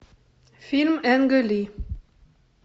фильм энга ли